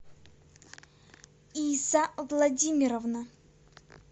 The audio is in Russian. иса владимировна